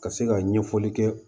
Ka se ka ɲɛfɔli kɛ